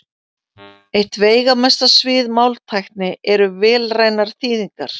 Eitt veigamesta svið máltækni eru vélrænar þýðingar.